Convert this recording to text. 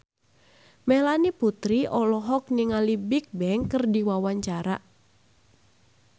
Melanie Putri olohok ningali Bigbang keur diwawancara